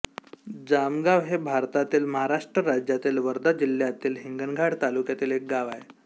जामगाव हे भारतातील महाराष्ट्र राज्यातील वर्धा जिल्ह्यातील हिंगणघाट तालुक्यातील एक गाव आहे